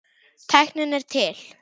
Tæknin er til.